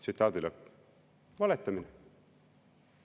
" Valetamine!